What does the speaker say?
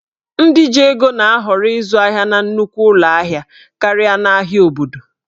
Ndị ji ego na-ahọrọ ịzụ ahịa na nnukwu ụlọ ahịa karịa n'ahịa obodo